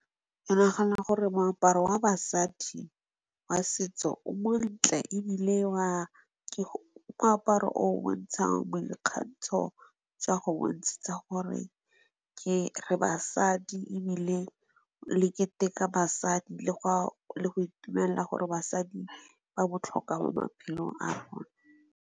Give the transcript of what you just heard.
Ke nagana gore moaparo wa basadi, wa setso o montle ebile ke moaparo o o bontshang boikgantsho, jwa go bontshetsa gore re basadi ebile le keteka basadi le go le go itumelela gore basadi ba botlhokwa mo maphelong a rona.